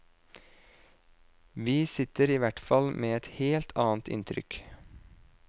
Vi sitter i hvert fall med et helt annet inntrykk.